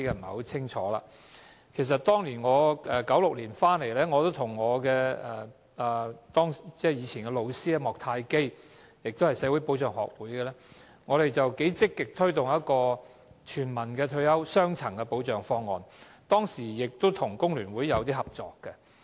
我在1996年回流香港，我和當時的老師莫泰基——他也是香港社會保障學會的成員——積極推動一個雙層的全民退休保障方案，當時跟工聯會合作。